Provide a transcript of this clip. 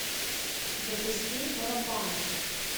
запусти паропанк